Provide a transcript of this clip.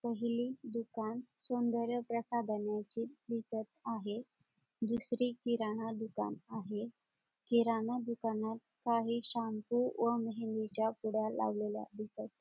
पहिली दुकान सौन्दर्य प्रसादनेचे दिसत आहेत दुसरी किराणा दुकान आहे किराणा दुकानात काही शॅम्पू व मेहंदीच्या पुड्या लावलेल्या दिसत--